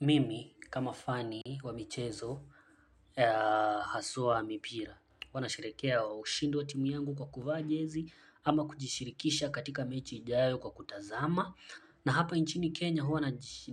Mimi kama fani wa michezo ya haswa ya mipira. Huwa nasherekea ushindi wa timu yangu kwa kuvaa jezi ama kujishirikisha katika mechi ijayo kwa kutazama. Na hapa nchini Kenya huwa